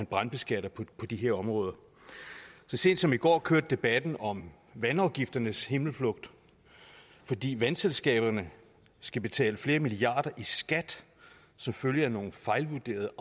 brandbeskattes på de her områder så sent som i går kørte debatten om vandafgifternes himmelflugt fordi vandselskaberne skal betale flere milliarder i skat som følge af nogle fejlvurderede